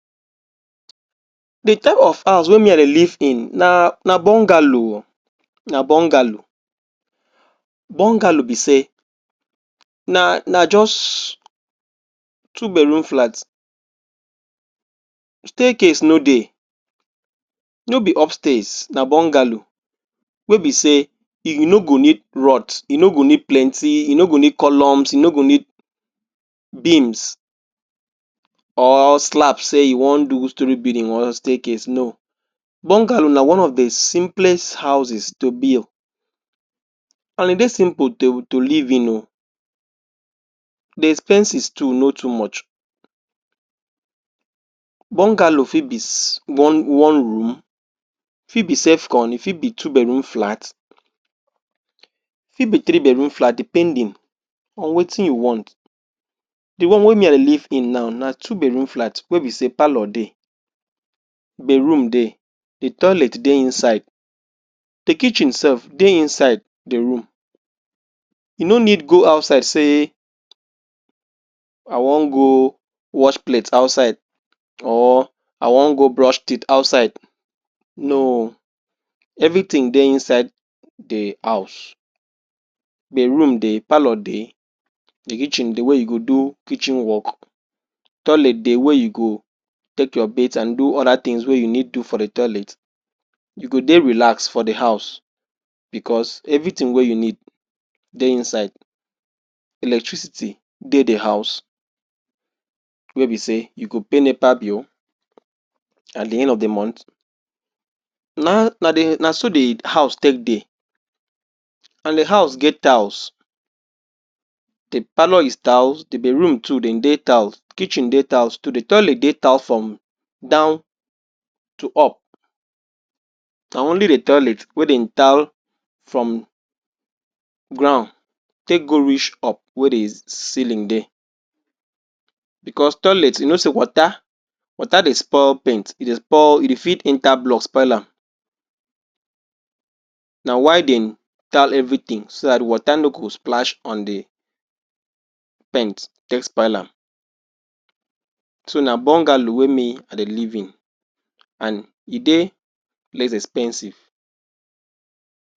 the type of house wey me i dey live in na bungalow o na bungalow bungalow be say naa na just two bedroom flat staircase no dey no be upstairs na bungalow wey be say u go no go need rod u no go need plenty uno go need colums u no go need beems or slab say you wan do story building or staircase no bungalow na one of the simplest houses to build and e dey simple to to live in ooo the expenses too no too much bungalow fit be ss one one room fit be self con fit be two bedroom flat e fit be three bedroom flat depending on wetin you want the one wey me i live in now na two bedroom flat wey be say palor dey bedroom dey the toilet dey inside the kitchen self dey inside the room you no need go outside say i wan go wash plate outside or i wan go brush teeth outside no everything dey inside the house bedroom dey palor de the kitchen the way you go do kitchen work toilet dey wey you go take your bate and do other things wey you need do for the toilet you go dey relax for the house because everything wey you need dey inside electricity dey the house wey be say you go pay nepa bill at the end of the month naa naso the house take dey and the house get tiles the palor is tiles the bedroom too dem dey tiles the kitchen dey tiles too the toilet dey tiled from down to up na only the toilet wey dem tiled from ground take go reach Up wey the ceiling dey because toilet you no say water water dey spoil paint e dey spoil e dey fit enter block spoil am na why dem tile everything so tha water no go splash on the paint take spoil am so na bungalow wey me i dey live in and e dey lezz expensive